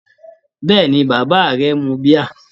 Bẹ́ẹ̀ni, bàbá rẹ mu bíà.